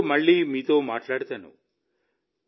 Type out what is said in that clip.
ఫిబ్రవరిలో మళ్ళీ మీతో మాట్లాడతాను